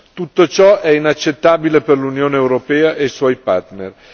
Tutto ciò è inaccettabile per l'Unione europea e i suoi partner.